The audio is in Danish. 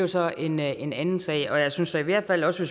så en en anden sag jeg synes da i hvert fald også